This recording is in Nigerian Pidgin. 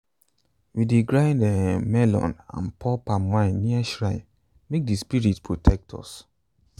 we dey grind um melon and pour palm wine near shrine make di spirit protect us.